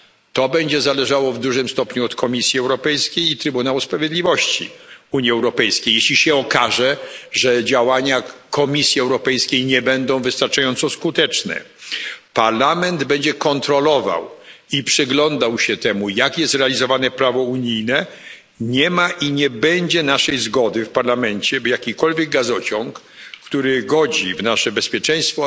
To będzie zależało w dużym stopniu od Komisji Europejskiej i Trybunału Sprawiedliwości Unii Europejskiej. Jeśli się okaże, że działania Komisji Europejskiej nie będą wystarczająco skuteczne, Parlament będzie kontrolował i przyglądał się jak jest realizowane prawo unijne. Nie ma i nie będzie naszej zgody w Parlamencie, by jakikolwiek gazociąg, który godzi w nasze bezpieczeństwo